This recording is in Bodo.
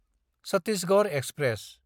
छत्तीसगढ़ एक्सप्रेस